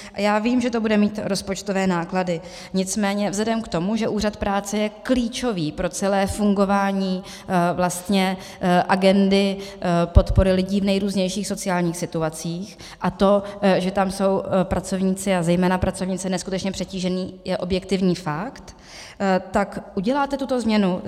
Já vím, že to bude mít rozpočtové náklady, nicméně vzhledem k tomu, že Úřad práce je klíčový pro celé fungování agendy podpory lidí v nejrůznějších sociálních situacích, a to, že tam jsou pracovníci a zejména pracovnice neskutečně přetíženi, je objektivní fakt - tak uděláte tuto změnu?